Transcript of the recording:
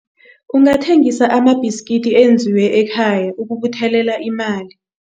Ungathengisa amabhiskidi enzelwe ekhaya ukubuthelela imali.